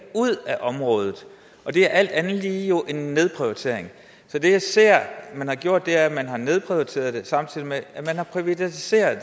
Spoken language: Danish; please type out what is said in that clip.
ud af området det er alt andet lige jo en nedprioritering så det jeg ser man har gjort er at man har nedprioriteret det samtidig med at man har privatiseret